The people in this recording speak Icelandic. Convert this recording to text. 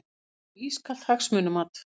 Snýst um ískalt hagsmunamat